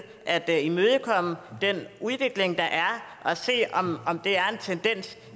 at imødekomme den udvikling der er og se om det er en tendens